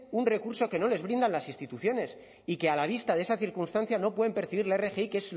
un recurso que no les brindan las instituciones y que a la vista de esa circunstancia no pueden percibir la rgi que